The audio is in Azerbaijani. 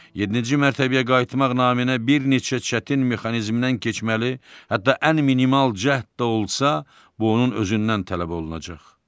Yeddinci mərtəbəyə qayıtmaq naminə bir neçə çətin mexanizmdən keçməli, hətta ən minimal cəhd də olsa, bu onun özündən tələb olunacaq.